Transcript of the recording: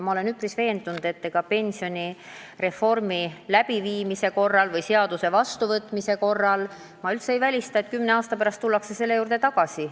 Ma olen üpris veendunud, et pensionireformi läbiviimise korral või selle seaduse vastuvõtmise korral me tuleme kümne aasta pärast selle teema juurde ikkagi tagasi.